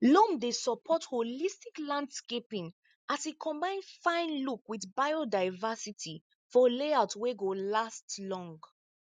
loam dey support holistic landscaping as e combine fine look with biodiversity for layout wey go last long